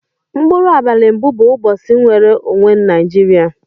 Mkpuru abali mbu bu ubosi mnwere onwe naijiria.